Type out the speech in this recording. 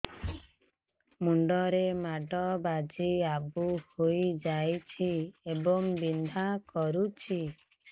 ମୁଣ୍ଡ ରେ ମାଡ ବାଜି ଆବୁ ହଇଯାଇଛି ଏବଂ ବିନ୍ଧା କରୁଛି